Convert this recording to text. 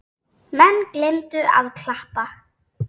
Menn gleymdu að klappa.